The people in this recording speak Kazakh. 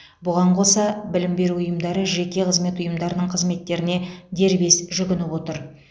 бұған қоса білім беру ұйымдары жеке қызмет ұйымдарының қызметтеріне дербес жүгініп отыр